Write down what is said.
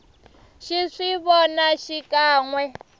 xi swi vona xikan we